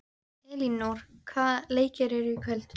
Elínór, hvaða leikir eru í kvöld?